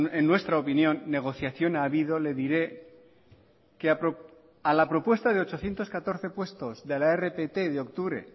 en nuestra opinión negociación ha habido le diré que a la propuesta de ochocientos catorce puestos de la rpt de octubre